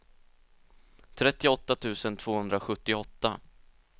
trettioåtta tusen tvåhundrasjuttioåtta